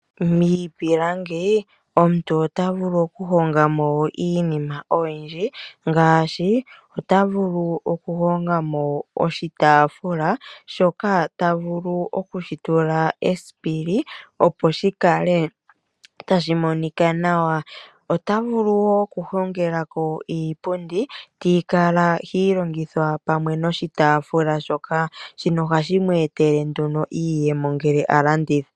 Miipilangi omuntu ota vulu oku honga mo iinima oyindji ngaashi, ota vulu oku honga mo oshitaafula shoka ta vulu okushi tula esipili opo shikale tashi monika nawa. Ota vulu wo oku hongelako iipundi tii kala hi longithwa pamwe noshitaafula shoka. Shino ohashi mu etele nduno iiyemo ngele a landitha.